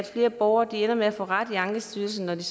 flere borgere ender med at få ret i ankestyrelsen når de